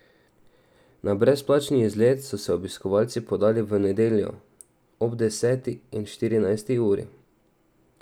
Na brezplačni izlet so se obiskovalci podali v nedeljo ob deseti in štirinajsti uri.